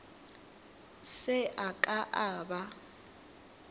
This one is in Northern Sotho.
se a ka a ba